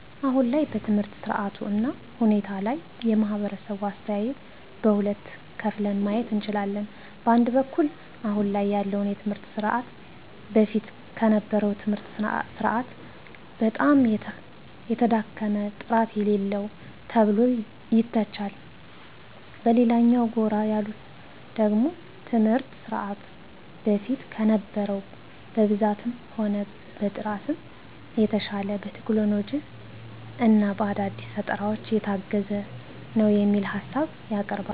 አሁን ላይ በትምህርት ስርዓቱ እና ሁኔታ ላይ የማህበረሰቡ አስተያየት በሁለት ከፍለን ማየት እንችላለን። በአንድ በኩል አሁን ላይ ያለውን የትምህርት ስርዓት በፊት ከነበረው የትምህርት ስርዓት በጣም የተዳከመ፣ ጥራት የሌለው ተብሎ ይተቻል። በሌላኛው ጎራ ያሉት ደግሞ ትምህርት ስርዓቱ በፊት ከነበረው በብዛትም ሆነ በጥራትም የተሻለ፣ በቴክኖሎጂ እና በአዳዲስ ፈጠራዎች የታገዘ ነው የሚል ሀሳብ ያቀርባሉ።